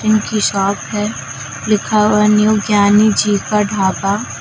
उनकी शॉप है लिखा हुआ है न्यू ज्ञानी जी का ढाबा।